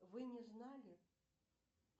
вы не знали